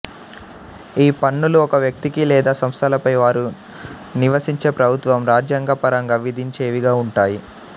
ఈ పన్నులు ఒక వ్యక్తికి లేదా సంస్థలపై వారు నివసించే ప్రభుత్వం రాజ్యాంగ పరంగా విధించేవిగా ఉంటాయి